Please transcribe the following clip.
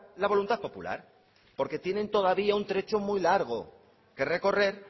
la voluntad popular porque tienen todavía un trecho muy largo que recorrer